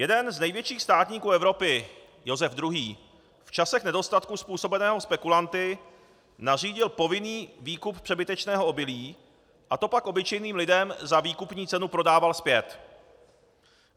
Jeden z největších státníků Evropy Josef II. v časech nedostatku způsobeného spekulanty nařídil povinný výkup přebytečného obilí a to pak obyčejným lidem za výkupní cenu prodával zpět.